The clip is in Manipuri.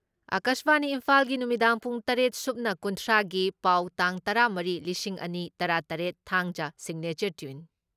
ꯑꯀꯥꯁꯕꯥꯅꯤ ꯏꯝꯐꯥꯜꯒꯤ ꯅꯨꯃꯤꯗꯥꯡ ꯄꯨꯡ ꯇꯔꯦꯠꯁꯨꯞꯅ ꯀꯨꯟꯊ꯭ꯔꯥꯒꯤ ꯄꯥꯎ ꯇꯥꯡ ꯇꯔꯥ ꯃꯔꯤ ꯂꯤꯁꯤꯡ ꯑꯅꯤ ꯇꯔꯥ ꯇꯔꯦꯠ, ꯊꯥꯡꯖ ꯁꯤꯒꯅꯦꯆꯔ ꯇ꯭ꯌꯨꯟ